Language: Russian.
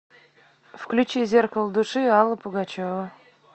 включи зеркало души алла пугачева